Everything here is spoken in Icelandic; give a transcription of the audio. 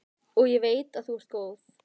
Og ég veit að þú ert góð.